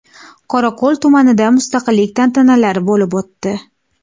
Qorako‘l tumanida mustaqillik tantanalari bo‘lib o‘tdi .